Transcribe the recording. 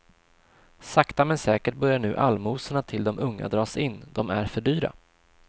Sakta men säkert börjar nu allmosorna till de unga dras in, de är för dyra.